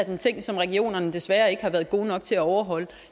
en ting som regionerne desværre ikke har været gode nok til at overholde